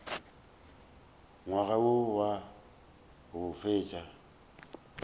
ngwaga wo wa go feta